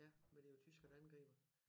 Ja for det jo tysker der angriber